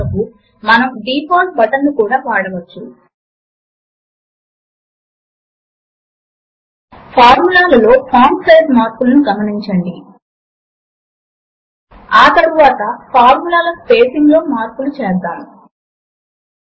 writer grey box తనంత తానె refresh అయింది అని మరియు అది 4 ఇంటో 3 అని డిస్ప్లే చేస్తోంది అన్న విషయమును గమనించండి